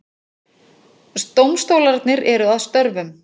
Dómstólarnir eru að störfum